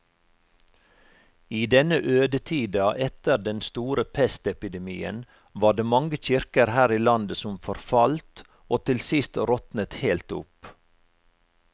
I denne ødetida etter den store pestepidemien var det mange kirker her i landet som forfalt og til sist råtnet helt opp.